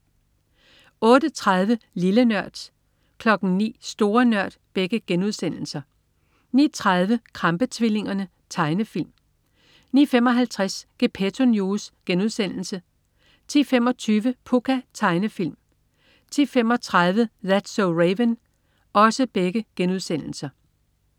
08.30 Lille Nørd* 09.00 Store Nørd* 09.30 Krampe-tvillingerne. Tegnefilm 09.55 Gepetto News* 10.25 Pucca.* Tegnefilm 10.35 That's so Raven*